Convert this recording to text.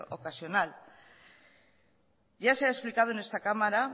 ocasional ya se ha explicado en esta cámara